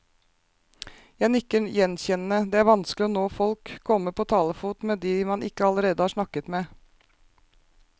Jeg nikker gjenkjennende, det er vanskelig å nå folk, komme på talefot med de man ikke allerede har snakket med.